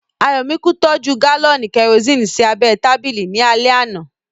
Ayọ̀míkún tọ́jú gálọ̀nì kẹrosini sí abẹ́ ẹ tábìlì ní alẹ́ àná